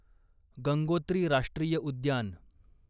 गंगोत्री राष्ट्रीय उद्यान